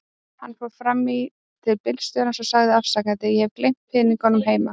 Hann fór fram í til bílstjórans og sagði afsakandi: Ég hef gleymt peningunum heima.